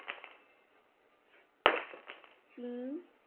ચૂ